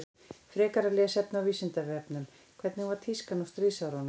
Frekara lesefni á Vísindavefnum Hvernig var tískan á stríðsárunum?